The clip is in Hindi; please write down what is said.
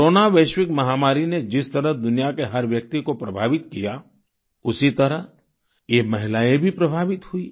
कोरोना वैश्विक महामारी ने जिस तरह दुनिया के हर व्यक्ति को प्रभावित किया उसी तरह ये महिलाएं भी प्रभावित हुईं